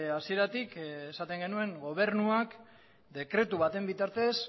hasieratik esaten genuen gobernuak dekretu baten bitartez